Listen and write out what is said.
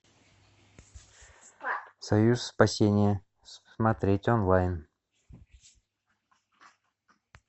союз спасения смотреть онлайн